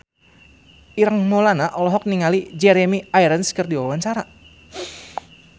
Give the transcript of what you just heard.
Ireng Maulana olohok ningali Jeremy Irons keur diwawancara